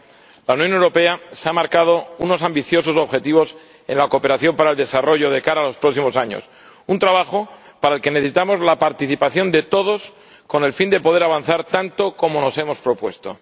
Señora Presidenta, señor Comisario, la Unión Europea se ha marcado unos ambiciosos objetivos en la cooperación para el desarrollo de cara a los próximos años, un trabajo para el que necesitamos la participación de todos con el fin de poder avanzar tanto como nos hemos propuesto.